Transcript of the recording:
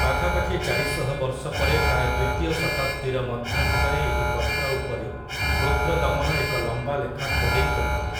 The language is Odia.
ପାଖାପାଖି ଚାରିଶହ ବର୍ଷ ପରେ ପ୍ରାୟ ଦ୍ୱିତୀୟ ଶତାବ୍ଦୀର ମଧ୍ୟଭାଗରେ ଏହି ପଥର ଉପରେ ରୁଦ୍ରଦମନ ଏକ ଲମ୍ବା ଲେଖା ଖୋଦେଇ କରିଥିଲେ ।